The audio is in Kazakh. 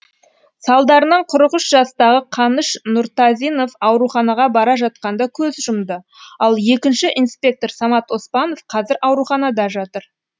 салдарынан қырық үш жастағы қаныш нұртазинов ауруханаға бара жатқанда көз жұмды ал екінші инспектор самат оспанов қазір ауруханада жатыр